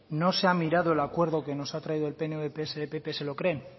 no se ha mirado el acuerdo que nos ha traído el pnv psoe pp se lo creen